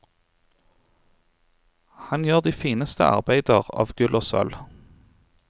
Han gjør de fineste arbeider av gull og sølv.